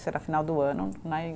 Isso era final do ano, né?